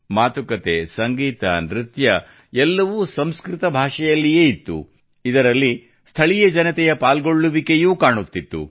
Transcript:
ಮಾತುಕತೆ ಸಂಗೀತ ನೃತ್ಯ ಎಲ್ಲವೂ ಸಂಸ್ಕೃತ ಭಾಷೆಯಿಲ್ಲಿಯೇ ಇತ್ತು ಇದರಲ್ಲಿ ಸ್ಥಳೀಯ ಜನತೆಯ ಪಾಲ್ಗೊಳ್ಳುವಿಕೆಯೂ ಕಾಣುತ್ತಿತ್ತು